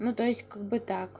ну то есть как бы так